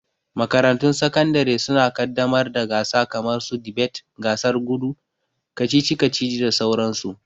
Makarantun sakandare suna ƙaddamar da gasa kamar su dibet, gasar gudu, kacici kacici da sauran su.